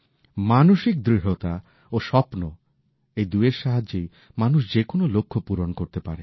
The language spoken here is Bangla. মানসিক দৃঢ়তা ও স্বপ্ন এ দুইয়ের সাহায্যে মানুষ যে কোনো লক্ষ্য পূরণ করতে পারে